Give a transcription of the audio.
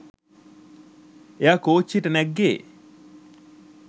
එයා කෝච්චියට නැග්ගෙ